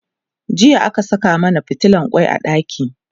jiya aka Saka mana fitilan kwai a ɗaki